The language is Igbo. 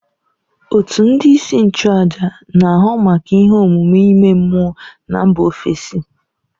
Òtù ndị isi nchụàjà na, ahụ maka ihe omume ime mmụọ na mba ofesi